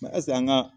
Masa an ga